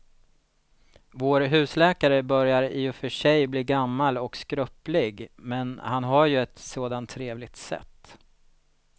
Vår husläkare börjar i och för sig bli gammal och skröplig, men han har ju ett sådant trevligt sätt!